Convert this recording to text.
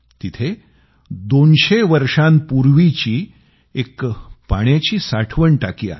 तिथं 200 वर्षांपूर्वीची एक पाण्याची साठवण टाकी आहे